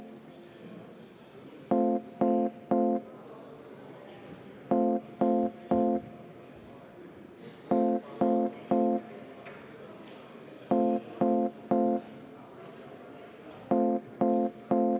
Minu meelest on selline võrdlus äärmiselt kohatu.